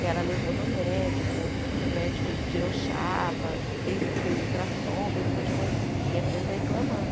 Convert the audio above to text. E ela levou no médico, o médico tirou chapa, fez a fez ultrassom, fez um monte de coisa e a criança reclamando.